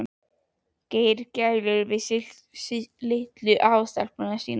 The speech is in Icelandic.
Gerir gælur við litlu afastelpuna sína.